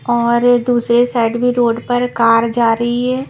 और अ दूसरे साइड भी रोड पर कार जा री है।